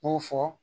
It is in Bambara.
N y'o fɔ